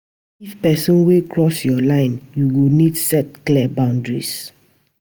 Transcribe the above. If pesin dey cross yur line, yu go nid set clear boundaries.